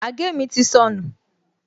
Àgé mi ti sọnù